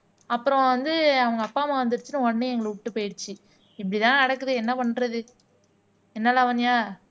அப்புறம் வந்து அவங்க அப்பா அம்மா வந்துருச்சுன்னு உடனே எங்களை விட்டுட்டு போயிடுச்சு இப்படித்தான் நடக்குது என்ன பண்றது என்ன லாவண்யா